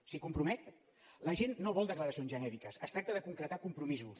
s’hi compromet la gent no vol declaracions genèriques es tracta de concretar compromisos